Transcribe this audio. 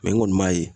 n kɔni m'a ye